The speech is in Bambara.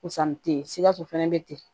Pusa ni te ye sikaso fana bɛ ten